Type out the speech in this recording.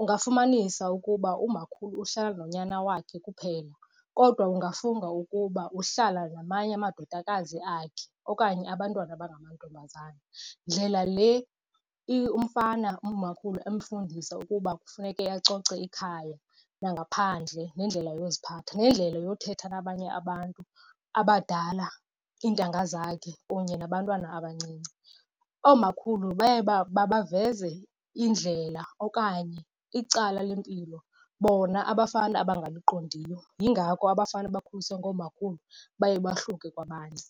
Ungafumanisa ukuba umakhulu uhlala nonyana wakhe kuphela kodwa ungafunga ukuba uhlala namanye amadodakazi akhe okanye abantwana abangamantombazana. Ndlela le umfana umakhulu emfundise ukuba kufuneke acoceke ikhaya nangaphandle nendlela yokuziphatha, nendlela yothetha nabanye abantu abadala, iintanga zakhe kunye nabantwana abancinci. Oomakhulu baye baveza indlela okanye icala lempilo bona abafana abangaliqondiyo. Yingako abafana abakhuliswe ngoomakhulu baye bahluke kwabanye